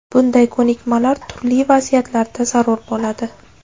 Bunday ko‘nikmalar turli vaziyatlarda zarur bo‘ladi.